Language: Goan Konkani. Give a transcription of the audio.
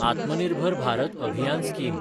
आत्म निर्भर भारत अभियान स्कीम